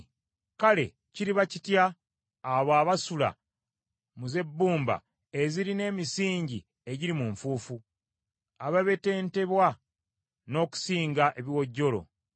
kale kiriba kitya, abo abasula mu z’ebbumba ezirina emisingi egiri mu nfuufu, ababetentebwa n’okusinga ekiwojjolo?